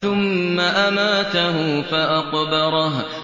ثُمَّ أَمَاتَهُ فَأَقْبَرَهُ